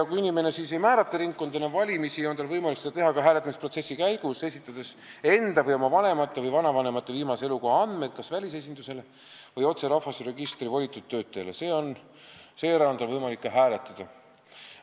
Kui inimene ei määra ringkonda enne valimisi kindlaks, on tal võimalus seda teha ka hääletamisprotsessi käigus, esitades enda või oma vanemate või vanavanemate viimase elukoha andmed kas välisesindusele või rahvastikuregistri volitatud töötlejale, seejärel on tal võimalik ka hääletada.